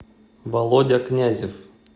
володя князев